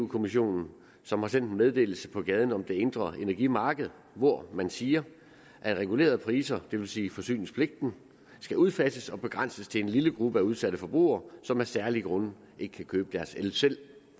kommissionen som har sendt en meddelelse på gaden om det indre energimarked hvor man siger at regulerede priser det vil sige forsyningspligten skal udfases og begrænses til en lille gruppe af udsatte forbrugere som af særlige grunde ikke kan købe deres el selv